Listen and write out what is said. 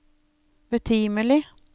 betimelig